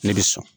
Ne bɛ so